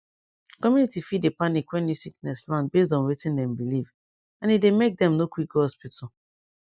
community fit dey panic when new sickness land based on wetin dem believe and e dey make dem no quick go hospital